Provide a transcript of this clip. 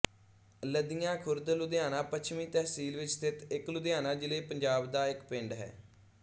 ਲਦੀਆਂ ਖੁਰਦ ਲੁਧਿਆਣਾ ਪੱਛਮੀ ਤਹਿਸੀਲ ਵਿਚ ਸਥਿਤ ਇਕ ਲੁਧਿਆਣਾ ਜ਼ਿਲ੍ਹੇ ਪੰਜਾਬ ਦਾ ਇੱਕ ਪਿੰਡ ਹੈ